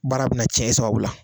Baara bɛna tiɲɛ e sababu la.